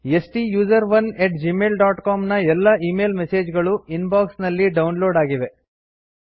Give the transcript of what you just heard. ಸ್ಟುಸೆರೋನ್ at Gmail dot com ನ ಎಲ್ಲ email message ಗಳು ಇನ್ ಬಾಕ್ಸ್ ನಲ್ಲಿ ಡೌನ್ ಲೋಡ್ ಆಗಿವೆ